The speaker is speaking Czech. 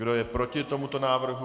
Kdo je proti tomuto návrhu?